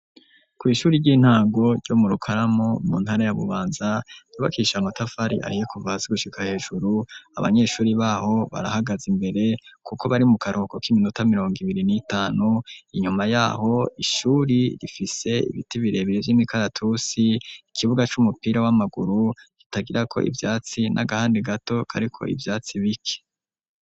kw,ishuri ry'intango ryo mu rukaramu mu ntara ya bubanza ryubakisha amatafari ahiye kuva hasi gushika hejuru abanyeshuri baho barahagaza imbere kuko bari mu karuhuko k'iminota mirongo ibiri n' itanu inyuma yaho ishuri rifise ibiti birebire vy'imikaratusi ikibuga c'umupira w'amaguru kitagira ko ivyatsi n'agahande gato kariko ivyatsi bike